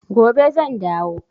Gobe zan dawo.